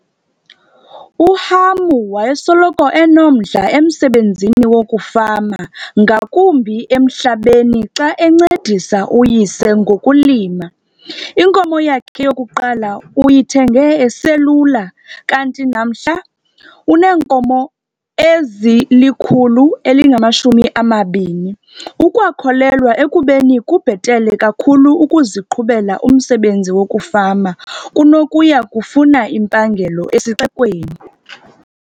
UHamu wayesoloko enomdla emsebenzini wokufama ngakumbi emhlabeni xa encedisa uyise ngokulima. Inkomo yakhe yokuqala uyithenge eselula kanti namhla uneenkomo ezili-120. Ukwakholelwa ekubeni kubhetele kakhulu ukuziqhubela umsebenzi wokufama kunokuya kufuna impangelo esixekweni.